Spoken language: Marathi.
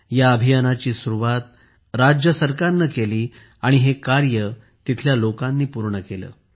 या अभियानाची सुरुवात राज्य सरकारने केली आणि हे कार्य तेथील लोकांनी पूर्ण केले